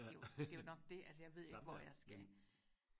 det er jo det er jo nok det altså jeg ved ikke hvor jeg skal